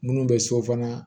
Minnu bɛ so fana